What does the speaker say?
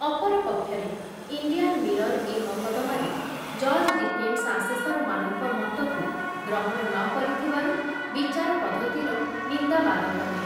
ଅପର ପକ୍ଷରେ Indian Mirror ଏ ମକଦ୍ଦମାରେ ଜଜ ଡିକେନ୍ସ ଆସେସରମାନଙ୍କ ମତକୁ ଗ୍ରହଣ ନ କରିଥିବାରୁ ବିଚାର ପଦ୍ଧତିର ନିନ୍ଦାବାଦ କଲେ।